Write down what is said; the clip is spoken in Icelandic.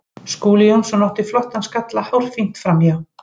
Skúli Jónsson átti flottan skalla hárfínt framhjá.